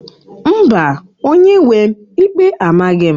Mba, onye-nwe m, ikpe amaghị m